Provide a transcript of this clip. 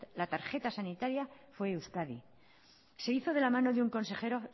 la tarjeta sanitaria fue euskadi se hizo de la mano de un consejero